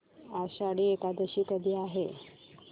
आषाढी एकादशी कधी आहे